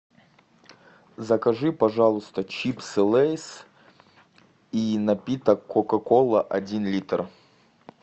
закажи пожалуйста чипсы лейс и напиток кока кола один литр